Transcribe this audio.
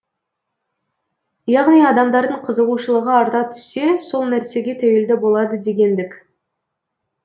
яғни адамдардың қызығушылығы арта түссе сол нәрсеге тәуелді болады дегендік